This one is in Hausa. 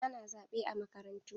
Ana zaɓe a makarantu.